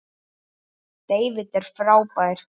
David er frábær.